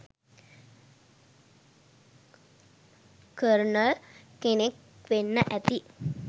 colonel” කෙනෙක් වෙන්න ඇති